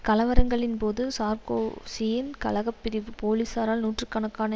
கலவரங்களின்போது சார்க்கோசியின் கலக பிரிவு போலீசாரால் நூற்று கணக்கான